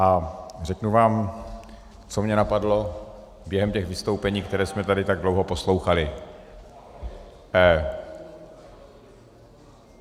A řeknu vám, co mě napadlo během těch vystoupení, která jsme tady tak dlouho poslouchali.